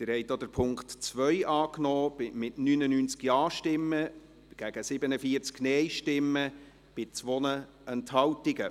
Sie haben auch den Punkt 2 angenommen, mit 99 Ja- gegen 47 Nein-Stimmen bei 2 Enthaltungen.